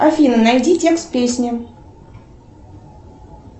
афина найди текст песни